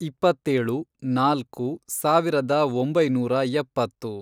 ಇಪ್ಪತ್ತೇಳು, ನಾಲ್ಕು, ಸಾವಿರದ ಒಂಬೈನೂರ ಎಪ್ಪತ್ತು